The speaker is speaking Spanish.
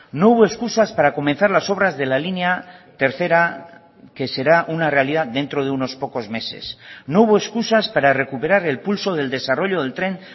no hubo excusas para comenzar las obras de la línea tercera que será una realidad dentro de unos pocos meses no hubo excusas para recuperar el pulso del desarrollo del tren